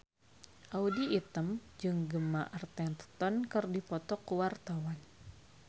Audy Item jeung Gemma Arterton keur dipoto ku wartawan